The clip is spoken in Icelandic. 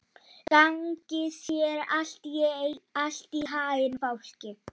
Gangi þér allt í haginn, Fálki.